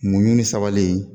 Mun ni sabali